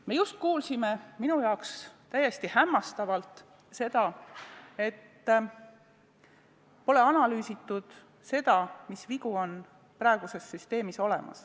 Me just kuulsime minu suureks hämmastuseks seda, et pole analüüsitud, mis vead praeguses süsteemis on.